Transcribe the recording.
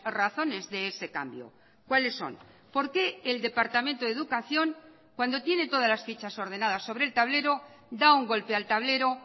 razones de ese cambio cuáles son por qué el departamento de educación cuando tiene todas las fichas ordenadas sobre el tablero da un golpe al tablero